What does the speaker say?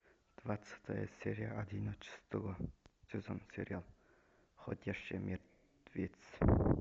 двадцатая серия одиннадцатого сезона сериал ходячие мертвецы